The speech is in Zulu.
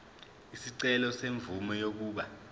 isicelo semvume yokuba